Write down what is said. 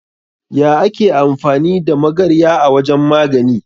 Ya ake amfani da magarya a wajan magani?